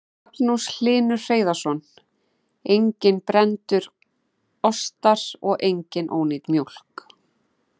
Magnús Hlynur Hreiðarsson: Enginn brenndur ostar og engin ónýt mjólk?